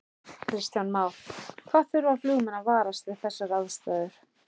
Kristján Már: Hvað þurfa flugmenn að varast við þessar aðstæður?